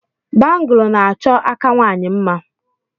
Bangụlu na-achọ aka nwaanyị mma.